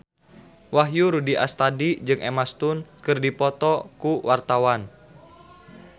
Wahyu Rudi Astadi jeung Emma Stone keur dipoto ku wartawan